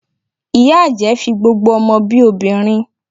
Ìyá àjẹ́ fi gbogbo ọmọ bi obìnrin